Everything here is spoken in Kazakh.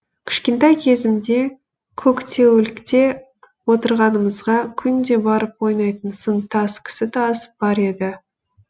кішкентай кезімде көктеулікте отырғанымызға күнде барып ойнайтын сын тас кісі тас бар еді